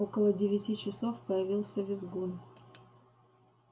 около девяти часов появился визгун